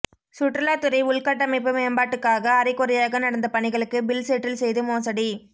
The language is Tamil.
சுற்றுலாத்துறை உள்கட்டமைப்பு மேம்பாட்டுக்காக அரைகுறையாக நடந்த பணிகளுக்கு பில் செட்டில் செய்து மோசடி